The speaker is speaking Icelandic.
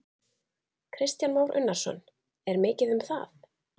Kristján Már Unnarsson: Er mikið um það?